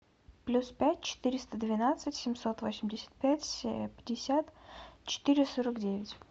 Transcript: плюс пять четыреста двенадцать семьсот восемьдесят пять пятьдесят четыре сорок девять